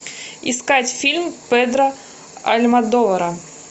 искать фильм педро альмодовара